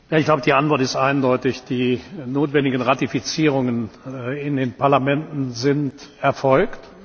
Herr Posselt! Die Antwort ist eindeutig. Die notwendigen Ratifizierungen in den Parlamenten sind erfolgt.